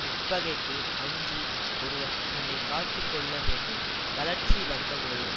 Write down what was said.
உட்பகைக்கு அஞ்சி ஒருவன் தன்னை காத்து கொள்ள வேண்டும் தளர்ச்சி வந்த போது